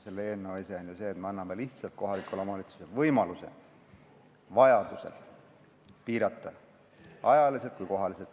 Selle eelnõu ese on ju see, et me anname lihtsalt kohalikule omavalitsusele võimaluse vajaduse korral piirata alkoholimüüki ajaliselt või kohaliselt.